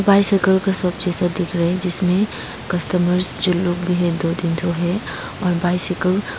bicycle का shop जैसा दिख रहे है जिसमे कस्टमर्स जो लोग भी है दो तीन ठो हैं और बाइसाइकिल --